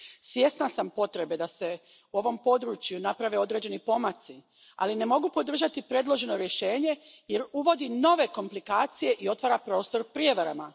Svjesna sam potrebe da se u ovom području naprave određeni pomaci, ali ne mogu podržati predloženo rješenje jer uvodi nove komplikacije i otvara prostor prijevarama.